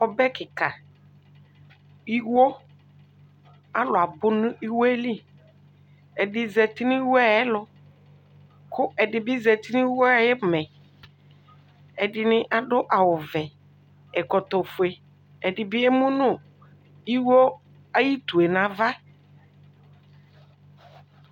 Ɔbɛ kika iwo alʋ abʋnʋ iwo yɛli ɛdini zati nʋ iwo yɛ ɛlʋ kʋ ɛdibi zati nʋ iwo yɛ ayʋ ʋmɛ ɛdini adʋ awʋvɛ ɛkɔtɔfue ɛdibi emʋnʋ iwo ayʋ utu yɛ nʋ ava